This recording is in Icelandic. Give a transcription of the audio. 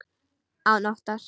Án óttans.